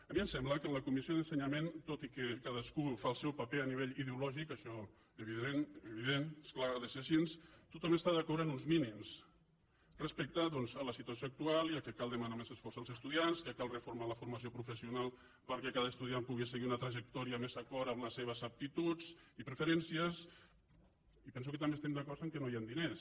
a mi em sembla que en la comissió d’ensenyament tot i que cadascú fa el seu paper a nivell ideològic això és evident és clar ha de ser així tothom està d’acord en els mínims respecte doncs a la situació actual i que cal demanar més esforç als estudiants que cal reformar la formació professional perquè cada estudiant pugui seguir una trajectòria més d’acord amb les seves aptituds i preferències i penso que també estem d’acord que no hi han diners